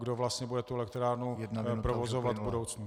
Kdo vlastně bude tu elektrárnu provozovat v budoucnu.